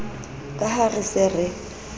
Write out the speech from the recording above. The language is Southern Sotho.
ka ha re se re